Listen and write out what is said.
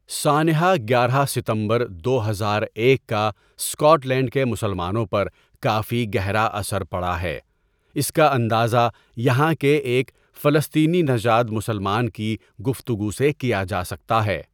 سانحہ گیارہ ستمبر دو ہزار ایک کا اسکاٹ لینڈ کے مسلمانوں پر کافی گہرا اثر پڑا ہے اس کا اندازہ یہاں کے ایک فسلطینی نژاد مسلمان کی گفتگو سے کیا جا سکتا ہے.